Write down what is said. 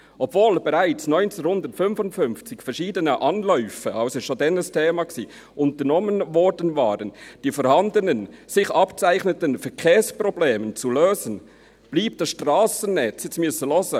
«Obwohl bereits seit 1955 verschiedene Anläufe» – das war also schon damals ein Thema – «unternommen worden waren, die vorhandenen bzw. sich abzeichnenden Verkehrsprobleme […] zu lösen, blieb das Strassennetz» – jetzt müssen Sie zuhören! –